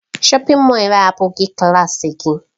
Shọpin Mọll a abụghị klaasị gị.